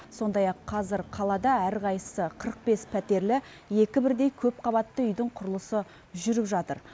сондай ақ қазір қалада әрқайсысы қырық бес пәтерлі екі бірдей көпқабатты үйдің құрылысы жүріп жатыр